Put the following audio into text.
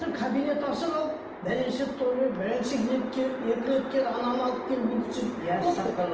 кабинет ашып алып екі рет кел ананы алып кел бүйт сөйт көп қой